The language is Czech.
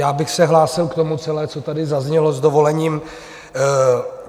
Já bych se hlásil k tomu celému, co tady zaznělo, s dovolením.